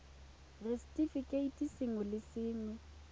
r setefikeiti sengwe le sengwe